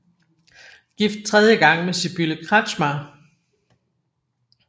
Gift tredje gang med Sibylle Kretschmer